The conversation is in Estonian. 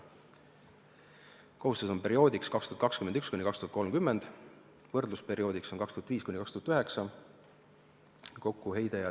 Kohustus on perioodiks 2021–2030, võrdlusperioodiks on 2005–2009.